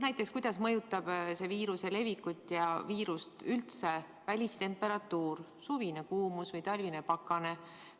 Näiteks, kuidas mõjutab viiruse levikut ja viirust üldse välistemperatuur, suvine kuumus või talvine pakane.